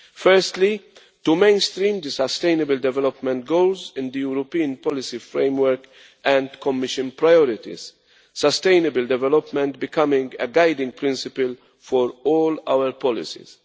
Firstly, to mainstream the sustainable development goals in the European policy framework and Commission priorities, sustainable development becoming a guiding principle for all our policies.